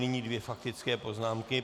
Nyní dvě faktické poznámky.